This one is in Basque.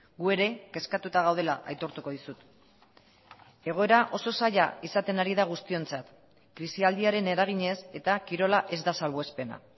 gu ere kezkatuta gaudela aitortuko dizut egoera oso zaila izaten ari da guztiontzat krisialdiaren eraginez eta kirola ez da salbuespena